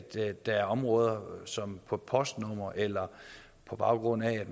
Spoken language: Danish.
der er områder som på postnumre eller på baggrund af at